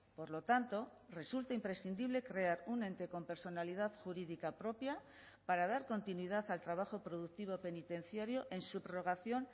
por lo tanto resulta imprescindible crear un ente con personalidad jurídica propia para dar continuidad al trabajo productivo penitenciario en subrogación